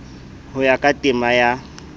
ho ya ka temana ya